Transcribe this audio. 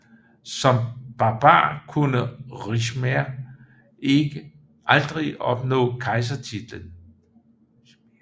Som barbar kunne Ricimer aldrig opnå kejsertitlen